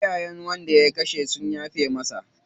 Iyayen wanda ya kashe sun yafe masa.